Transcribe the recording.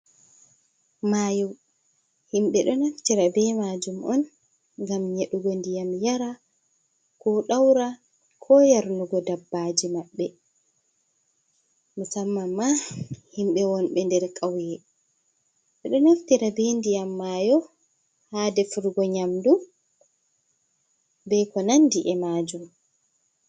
Mayo. Himbe do naftira be majum on gam yedugo ndiyam yara ko daura ko yarnugo dabbaji mabbe musamman ma himbe wonbe nder kauye be do naftira be ndiyam mayo ha defrgo nyamdu be ko nandi e majum